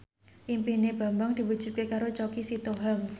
impine Bambang diwujudke karo Choky Sitohang